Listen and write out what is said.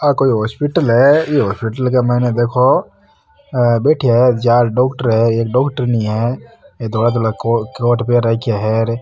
आ कोई हॉस्पिटल है ई हॉस्पिटल के मईने देखो बैठा है चार डॉक्टर है एक डॉक्टरनी है ये धोला धोला कोट पैर राखा है --